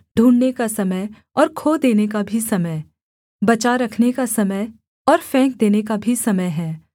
ढूँढ़ने का समय और खो देने का भी समय बचा रखने का समय और फेंक देने का भी समय है